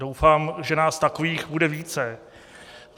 Doufám, že nás takových bude více.